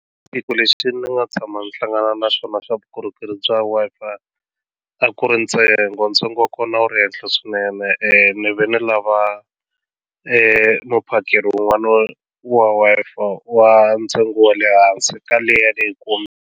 Lexi ni nga tshama ni hlangana na xona xa vukorhokeri bya Wi-Fi a ku ri ntsengo ntsengo wa kona a wu ri henhla swinene ene ni ve na lava i muphakeri wun'wana wa Wi-Fi wa ntsengo wa le hansi ka leya leyi .